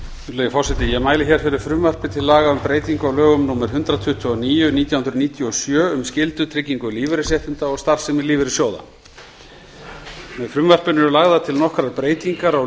virðulegi forseti ég mæli hér fyrir frumvarpi til laga um breytingu á lögum númer hundrað tuttugu og níu nítján hundruð níutíu og sjö um skyldutrygging lífeyrisréttinda og starfsemi lífeyrissjóða með frumvarpinu eru lagðar til nokkrar breytingar á